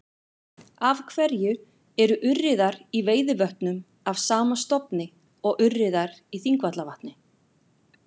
Af hverju eru urriðar í Veiðivötnum af sama stofni og urriðar í Þingvallavatni?